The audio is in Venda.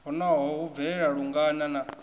honoho hu bvelela lungana na